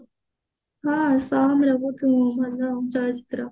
ହଁ ଚଳଚିତ୍ର